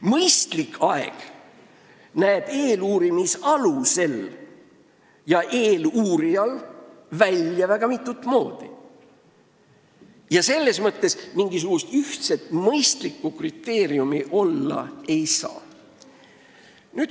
" Mõistlik aeg näib eeluurimisalusele ja eeluurijale väga isemoodi ning mingisugust ühtset mõistlikku kriteeriumi selles mõttes olla ei saa.